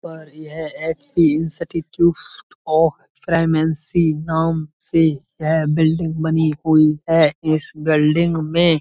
पर यह HP. Institute of pharmacy नाम से है बिल्डिंग बनी हुई है इस बिल्डिंग में --